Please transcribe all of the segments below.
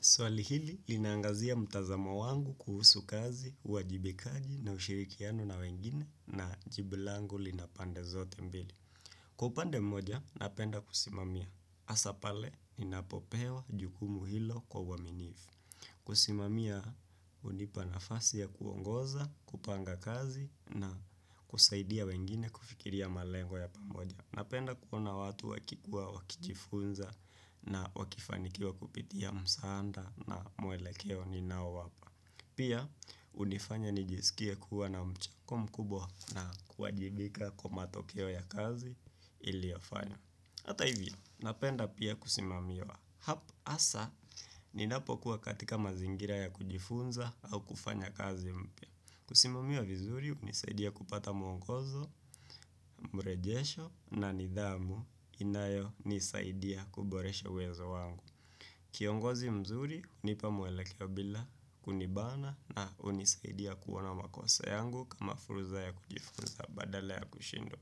Swali hili, linaangazia mtazamo wangu kuhusu kazi, uwajibikaji na ushirikiano na wengine na jibu langu lina pande zote mbili. Kwa upande mmoja, napenda kusimamia. Hasapale, inapopewa jukumu hilo kwa uaminifu. Kusimamia, hunipa nafasi ya kuongoza, kupanga kazi na kusaidia wengine kufikiria malengo ya pamoja. Napenda kuona watu wakikuwa wakijifunza na wakifanikiwa kupitia msaanda na mwelekeo ni nao wapa. Pia, hunifanya nijisikie kuwa na mchango mkubwa na kuwajibika kwa matokeo ya kazi iliofanya. Hata hivyo, napenda pia kusimamiwa. Hapo hasa, ninapokuwa katika mazingira ya kujifunza au kufanya kazi mpya. Kusimamiwa vizuri, hunisaidia kupata mwongozo, mrejesho na nidhamu inayo nisaidia kuboresha wezo wangu. Kiongozi mzuri, hunipa mwelekeo bila kunibana na unisaidia kuona makosa yangu kama furuza ya kujifunza badala ya kushindo.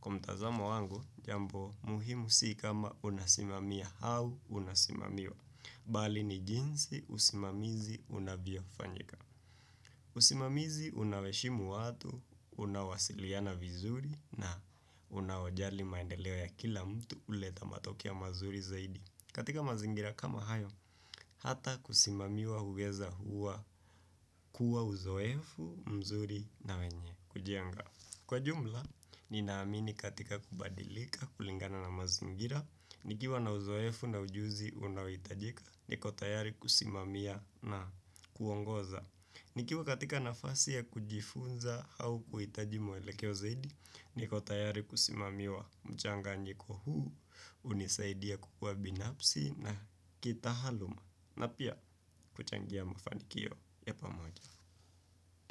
Kwa mtazamo wangu, jambo, muhimu si kama unasimamia au unasimamiwa. Bali ni jinsi, usimamizi, unavyofanyika. Usimamizi unawaheshimu watu, unawasiliana vizuri na unawajali maendeleo ya kila mtu huleta matokeo mazuri zaidi katika mazingira kama hayo, hata kusimamiwa uweza huwa kuwa uzoefu mzuri na wenye kujienga Kwa jumla, ninaamini katika kubadilika kulingana na mazingira nikiwa na uzoefu na ujuzi unawitajika niko tayari kusimamiya na kuongoza nikiwa katika nafasi ya kujifunza au kuitaji mwelekeo zaidi, niko tayari kusimamiwa mchanganyiko huu, unisaidie kukua binafsi na kitaaaluma na pia kuchangia mafanikio ya pamoja.